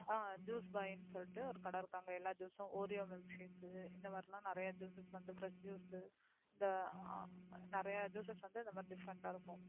Juice buy ன்னு சொல்லிட்டு ஒரு கடை இருக்கு அங்க எல்லா Juice oreo milkshake இந்த மாதிரிலாம் நிறைய Juices வந்து Fresh juice இந்த நிறைய Juices வந்து இந்த மாதிரி Different ஆ இருக்கும்.